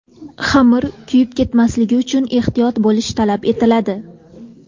Xamir kuyib ketmasligi uchun ehtiyot bo‘lish talab etiladi.